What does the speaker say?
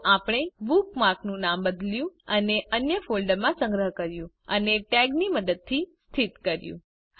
તો આપણે બુકમાર્ક નું નામ બદલ્યું તેને અન્ય ફોલ્ડરમાં સંગ્રહ કર્યું અને ટેગની મદદથી સ્થિત કર્યું